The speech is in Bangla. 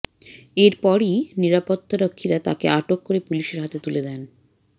এরপরই নিরাপত্তারক্ষীরা তাঁকে আটক করে পুলিশের হাতে তুলে দেন